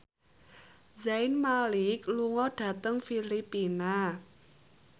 Zayn Malik lunga dhateng Filipina